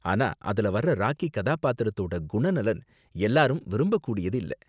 ஆனா அதுல வர்ற ராக்கி கதாபாத்திரத்தோட குணநலன் எல்லாரும் விரும்பக்கூடியதில்ல.